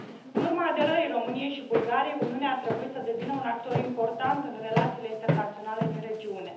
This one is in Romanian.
În urma aderării României și Bulgariei, Uniunea ar trebui să devină un actor important în relațiile internaționale din regiune.